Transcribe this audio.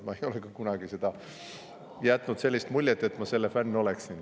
Ma ei ole ka kunagi jätnud sellist muljet, et ma selle fänn oleksin.